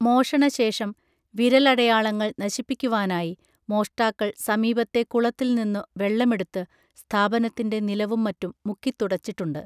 മോഷണശേഷം വിരലടയാളങ്ങൾ നശിപ്പിക്കുവാനായി മോഷ്ടാക്കൾ സമീപത്തെ കുളത്തിൽ നിന്നു വെള്ളമെടുത്ത് സ്ഥാപനത്തിൻറെ നിലവും മറ്റും മുക്കിത്തുടച്ചിട്ടുണ്ട്